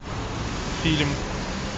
фильм